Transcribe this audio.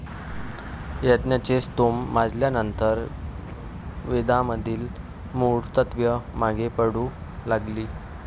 यज्ञाचे स्तोम माजल्यानंतर वेदामधील मूळ तत्त्वे मागे पडू लागली.